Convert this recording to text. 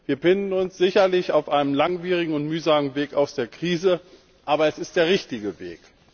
Wir befinden uns sicherlich auf einem langwierigen und mühsamen Weg aus der Krise, aber es ist der richtige Weg.